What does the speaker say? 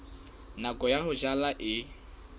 nako ya ho jala e